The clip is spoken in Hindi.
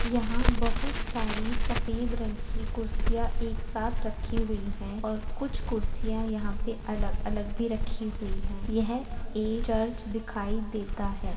यहाँ बहुत सारी सफेद रंग की कुर्सियाँ एक साथ रखी हुई हैं और कुछ कुर्सियाँ यहाँ पे अलग अलग भी रखी हुई हैं यह एक चर्च दिखाई देता है।